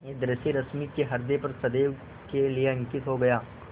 यह दृश्य रश्मि के ह्रदय पर सदैव के लिए अंकित हो गया